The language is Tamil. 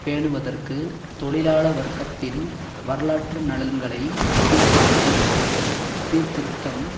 பேணுவதற்கு தொழிலாள வர்க்கத்தின் வரலாற்று நலன்களை கீழ்ப்படுத்தும் சீர்திருத்தம்